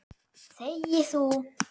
Þegi þú!